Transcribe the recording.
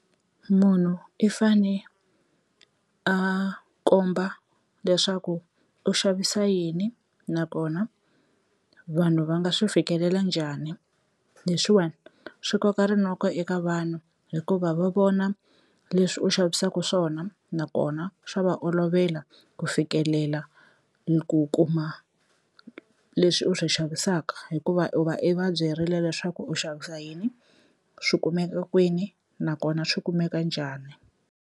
Munhu i fane a komba leswaku u xavisa yini nakona vanhu va nga swi fikelela njhani leswiwani swi koka rinoko eka vanhu hikuva va vona leswi u xavisaka swona nakona swa va olovela ku fikelela ni ku kuma leswi u swi xavisaka hikuva u va i va byerile leswaku u xavisa yini swi kumeka kwini nakona swi kumeka njhani.